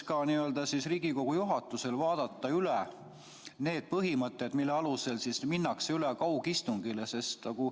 Paluksin Riigikogu juhatusel vaadata üle need põhimõtted, mille alusel minnakse üle kaugistungile.